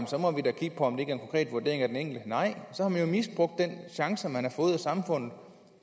så må vi da kigge på om en konkret vurdering af den enkelte nej så har man jo misbrugt den chance man har fået af samfundet